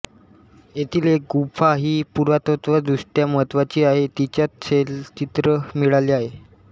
येथील एक गुंफा ही पुरातत्त्वदृष्ट्या महत्त्वाची आहे तिच्यात शैलचित्र मिळाले आहे